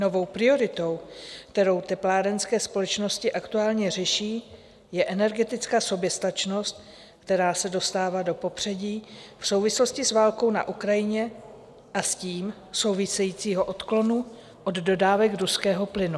Novou prioritou, kterou teplárenské společnosti aktuálně řeší, je energetická soběstačnost, která se dostává do popředí v souvislosti s válkou na Ukrajině a s tím souvisejícího odklonu od dodávek ruského plynu.